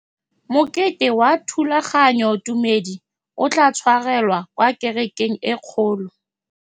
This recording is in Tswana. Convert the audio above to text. Mokete wa thulaganyôtumêdi o tla tshwarelwa kwa kerekeng e kgolo.